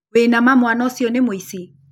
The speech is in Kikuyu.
Wĩ na ma mwana ũcio nĩ mũici